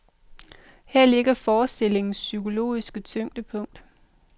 Her ligger forestillingens psykologiske tyngdepunkt.